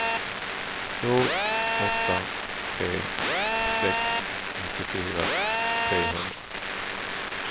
två åtta tre sex nittiofyra trehundra